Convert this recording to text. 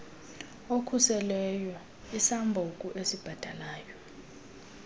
okhuselweyo isambuku esibhatalwayo